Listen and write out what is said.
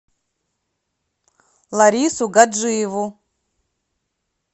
ларису гаджиеву